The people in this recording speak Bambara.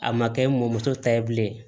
A ma kɛ n mɔmuso ta ye bilen